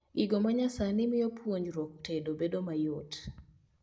Gigo manyasani mio puonjruok tedo bedo mayot